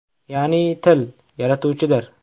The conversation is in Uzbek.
Ya’ni til – yaratuvchidir.